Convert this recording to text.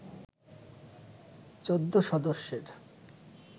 ১৪ সদস্যের